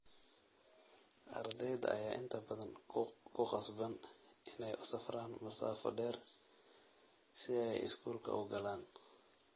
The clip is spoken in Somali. Ardayda ayaa inta badan ku qasban inay u safraan masaafo dheer si ay iskuulka u galaan.